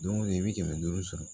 Don go don i bi kɛmɛ duuru sɔrɔ